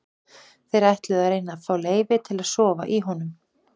Þær ætluðu að reyna að fá leyfi til að sofa í honum.